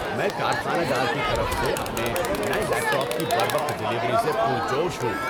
میں کارخانہ دار کی طرف سے اپنے نئے لیپ ٹاپ کی بروقت ڈیلیوری سے پرجوش ہوں۔